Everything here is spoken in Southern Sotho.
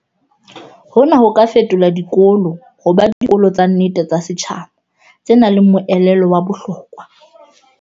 Hona ho ka fetola dikolo ho ba "dikolo tsa nnete tsa setjhaba" tse nang le moelelo wa bohlokwa.